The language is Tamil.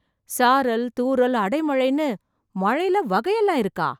சாரல், தூறல், அடை மழைன்னு மழைல வகையெல்லாம் இருக்கா?